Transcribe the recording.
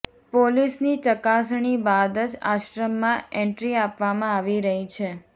પોલીસની ચકાસણી બાદ જ આશ્રમમાં એન્ટ્રી આપવામાં આવી રહી છે